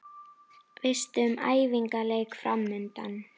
Veistu um æfingaleiki framundan?